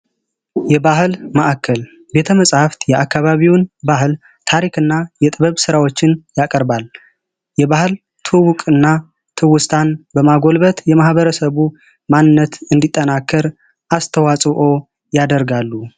የባህል ማዕከል ቤተ መጸሀፍት የአካባቢውን ባህል ታሪክ እና የጥበብ ስራዎችን ያቀርባል። የባህልና ተውስትን በማጎልበት የማበረሰቡን ማንነት እንዲጠናከር ያደርጋሉ።